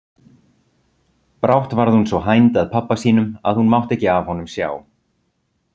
Brátt varð hún svo hænd að pabba sínum að hún mátti ekki af honum sjá.